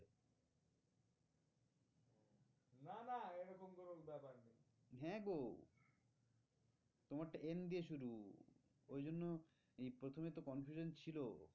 হ্যাঁ গো তোমারটা N দিয়ে শুরু ওই জন্যএই প্রথমে তো confident ছিল